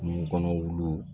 Kungo kɔnɔ wuluw